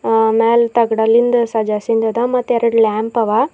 ಒ ಮ್ಯಾಲ್ ತಗಡಲಿಂದ ಸಜಾಸಿಂದದ ಮತ್ ಎರಡ್ ಲ್ಯಾಂಪ್ ಅವ.